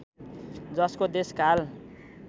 जसमा देश काल